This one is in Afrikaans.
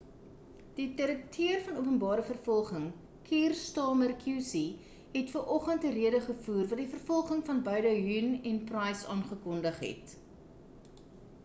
die direkteur van openbare vervolging kier starmer qc het vanoggend 'n rede gevoer wat die vervolging van beide huhne en pryce aangekondig het